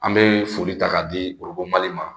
An bɛ foli ta k'a di mali ma